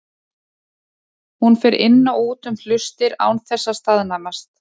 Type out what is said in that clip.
Hún fer inn og út um hlustir án þess að staðnæmast.